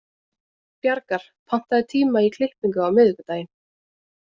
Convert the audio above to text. Bjargar, pantaðu tíma í klippingu á miðvikudaginn.